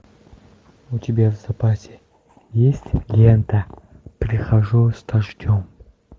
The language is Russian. у тебя в запасе есть лента прихожу с дождем